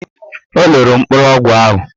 O loro mkpụrụ ọgwụ ahụ.